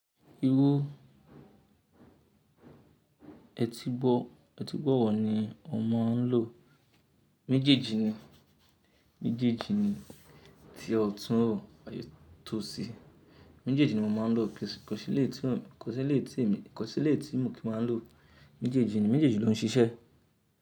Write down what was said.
Irú etígbọ̀, etígbọ̀ wọ́ ni o máa ń lò? Méjèèjì ni, méjèèjì ni tí ọtún o ai tosí. Méjèèjì ni mo máa ń lò. Eleyii tumo, koseleyii tí èmi, koseleyii tí mo ki máa ń lò. Méjèèjì ni, méjèèjì ló ń ṣiṣẹ́.